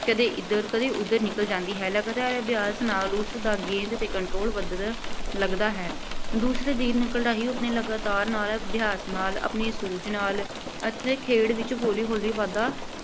ਕਦੇ ਇਧਰ, ਕਦੇ ਉਧਰ ਨਿਕਲ ਜਾਂਦੀ ਹੈ। ਲਗਾਤਾਰ ਅਭਿਆਸ ਨਾਲ ਉਸਦਾ ਗੇਂਦ 'ਤੇ control ਵਧਣ ਲੱਗਦਾ ਹੈ। ਦੂਸਰੇ ਦਿਨ ਨਿਕਲਦਾ ਹੀ ਉਹ ਆਪਣੇ ਲਗਾਤਾਰ ਨਾਲ ਅਭਿਆਸ ਨਾਲ, ਆਪਣੀ ਸੂਝ ਨਾਲ ਅਤੇ ਖੇਡ ਵਿੱਚ ਹੌਲੀ ਹੌਲੀ ਵਾਧਾ